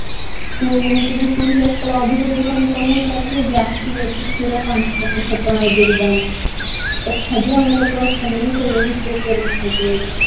ସିଏ ଯେମିତି ବିକୁଥିଲେ ଅଧିକ ପଇସା income ହଉଥିଲା ଏକ ଥରକେ କ୍ଷୀର ପାଞ୍ଚ ଟଙ୍କା ଛଅ ଟଙ୍କାରେ ଦେଇକି ଯାଆନ୍ତି ତଥାପି ଆମ ଲୋକ ରଖନ୍ତିନି କୁହନ୍ତି କରୋନା ହେଇଯିବ ବୋଲି